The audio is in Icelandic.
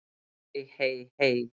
Hey, hey, hey.